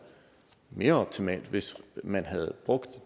mere optimalt hvis man havde brugt